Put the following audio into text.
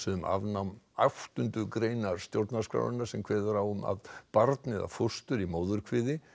um afnám áttundu greinar stjórnarskrárinnar sem kveður á um að barn eða fóstur í móðurkviði